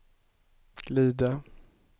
glida